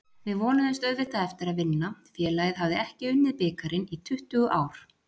Við vonuðumst auðvitað eftir að vinna, félagið hafði ekki unnið bikarinn í tuttugu ár.